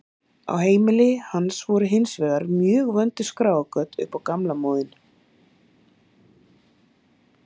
Á heimili hans voru hins vegar mjög vönduð skráargöt upp á gamla móðinn.